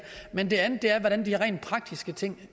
men den anden er hvordan de rent praktiske ting